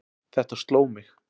Þetta sló mig.